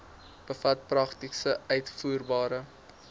bevat prakties uitvoerbare